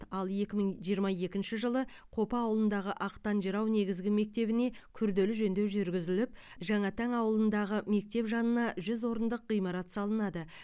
ал екі мың жиырма екінші жылы қопа ауылындағы ақтан жырау негізгі мектебіне күрделі жөндеу жүргізіліп жаңатаң ауылындағы мектеп жанына жүз орындық ғимарат салынады